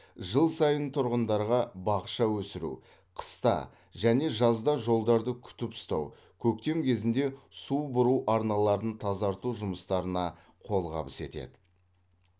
жыл сайын тұрғындарға бақша өсіру қыста және жазда жолдарды күтіп ұстау көктем кезінде су бұру арналарын тазарту жұмыстарына қолғабыс етеді